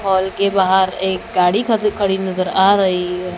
हाल के बाहर एक गाड़ी खदी खड़ी नजर आ रही है।